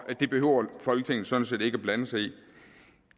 det behøver folketinget sådan set ikke at blande sig i